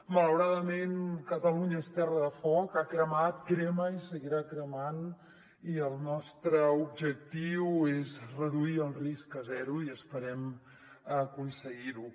malauradament catalunya és terra de foc ha cre·mat crema i seguirà cremant i el nostre objectiu és reduir el risc a zero i esperem aconseguir·ho